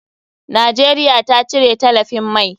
Najeriya ta cire talafin mai.